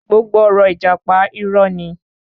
Gbogbo ọ̀rọ̀ ìjàpá, irọ́ ni.